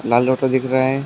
लाल auto दिख रहा है।